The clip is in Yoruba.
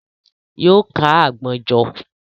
Yóò kó àgbọn jọ.